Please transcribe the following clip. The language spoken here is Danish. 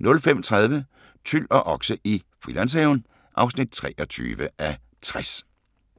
05:30: Tyl og okse i Frilandshaven (23:60)